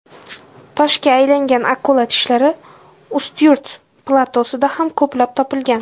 Toshga aylangan akula tishlari Ustyurt platosida ham ko‘plab topilgan.